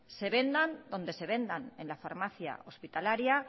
se vendan donde se vendan en la farmacia hospitalaria